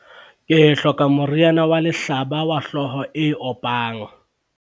ke hloka moriana wa lehlaba wa hlooho e opang